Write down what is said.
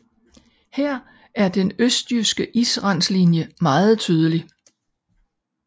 Her er den østjyske israndlinje meget tydelig